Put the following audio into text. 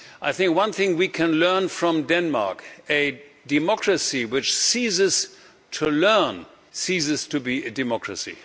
I think one thing we can learn from Denmark a democracy which ceases to learn, ceases to be a democracy.